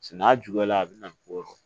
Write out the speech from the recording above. Se n'a juguyala a bɛ na ni ko dɔ ye